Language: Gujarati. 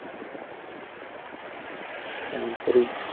તાંત્રિક,